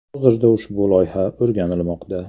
Hozirda ushbu loyiha o‘rganilmoqda.